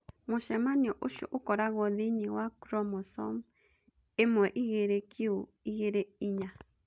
Mũcemanio ũcio ũkoragwo thĩinĩ wa chromosome 12q24.